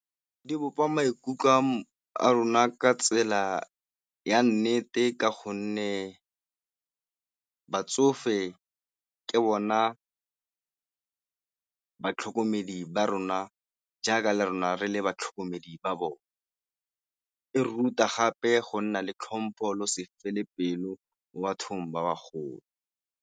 Di bopa maikutlo ka a rona ka tsela ya nnete ka gonne batsofe ke bona batlhokomedi ba rona jaaka la rona re le batlhokomedi ba bone, e re ruta gape go nna le tlhompho le go se fele pelo mo bathong ba bagolo.